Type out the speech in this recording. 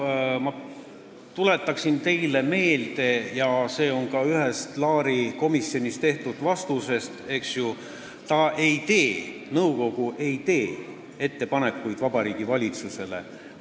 Ma tuletan teile meelde – see käis läbi ka ühest Laari komisjonis antud vastusest –, et nõukogu ei tee Vabariigi Valitsusele ettepanekuid.